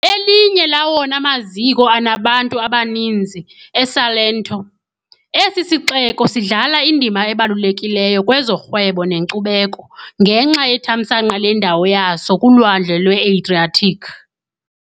Elinye lawona maziko anabantu abaninzi eSalento, esi sixeko sidlala indima ebalulekileyo kwezorhwebo nenkcubeko, ngenxa yethamsanqa lendawo yaso kuLwandle lweAdriatic .